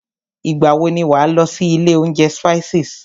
Ìgbà wọ ni wà á lọ sí ilé oúnjẹ Spices?